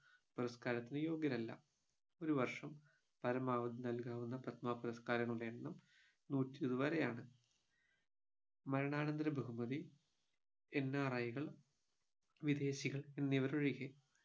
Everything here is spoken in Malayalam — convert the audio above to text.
പുരസ്കാരത്തിന് യോഗ്യരല്ല ഒരു വർഷം പരമാവധി നൽകാവുന്ന പത്മ പുരസ്കാരങ്ങളുടെ എണ്ണം നൂറ്റി ഇരുപത് വരെയാണ് മരണാനന്തര ബഹുമതി NRI കൾ വിദേശികൾ എന്നിവരൊഴികെ